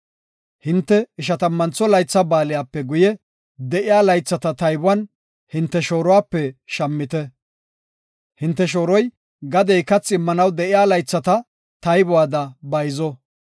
Hinte Ishatammantho Laytha Baaliyape guye de7iya laythata taybuwan hinte shooruwape shammite. Hinte shooroy gadey kathi immanaw de7iya laythata taybuwada bayzo.